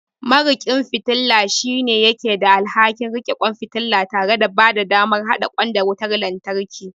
Mariƙin fitila shine yake da alhakin riƙe kwan fitila tare da bada damar haɗa kwan da wutar lantarki.